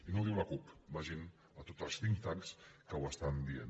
i no ho diu la cup vagin a tots els think tanks que ho estan dient